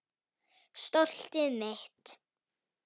Stoltið mitt.